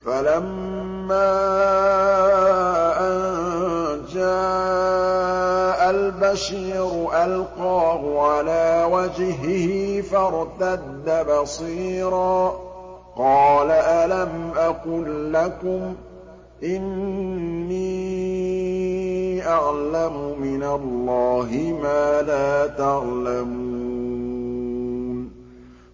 فَلَمَّا أَن جَاءَ الْبَشِيرُ أَلْقَاهُ عَلَىٰ وَجْهِهِ فَارْتَدَّ بَصِيرًا ۖ قَالَ أَلَمْ أَقُل لَّكُمْ إِنِّي أَعْلَمُ مِنَ اللَّهِ مَا لَا تَعْلَمُونَ